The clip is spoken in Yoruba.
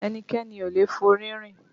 Ẹnikẹ́ni ò lè forí rìn